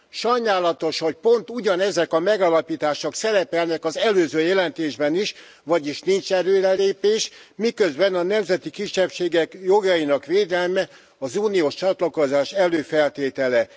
Sajnálatos, hogy pont ugyanezek a megállapítások szerepelnek az előző jelentésben is, vagyis nincs előrelépés, miközben a nemzeti kisebbségek jogainak védelme az uniós csatlakozás előfeltétele.